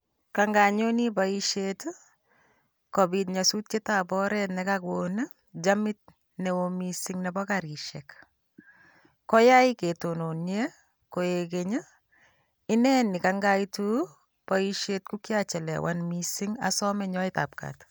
Kaanyonen en boishiet kobiit nyosutietab oret nakoon chamit neo missing Nebo karisiek. Koyaai ketononien koik keny I,one nekaaitu en boishiet kokachelewan missing ak asome nyoetabgaat